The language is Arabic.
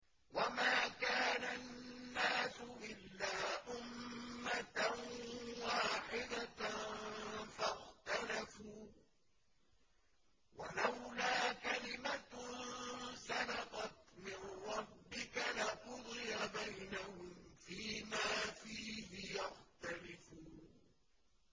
وَمَا كَانَ النَّاسُ إِلَّا أُمَّةً وَاحِدَةً فَاخْتَلَفُوا ۚ وَلَوْلَا كَلِمَةٌ سَبَقَتْ مِن رَّبِّكَ لَقُضِيَ بَيْنَهُمْ فِيمَا فِيهِ يَخْتَلِفُونَ